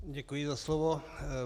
Děkuji za slovo.